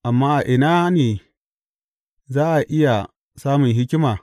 Amma a ina ne za a iya samun hikima?